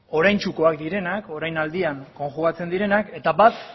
oraintsukoak direnak orainaldian konjugatzen direnak eta bat